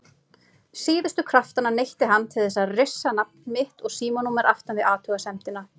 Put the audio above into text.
Síðustu kraftanna neytti hann til þess að rissa nafn mitt og símanúmer aftan við athugasemdina.